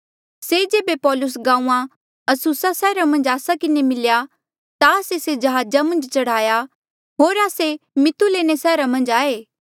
से जेबे पौलूस गांऊँआं अस्सुसा सैहरा मन्झ आस्सा किन्हें मिल्या ता आस्से से जहाजा मन्झ चढ़ाया होर आस्से मितुलेने सैहरा मन्झ आये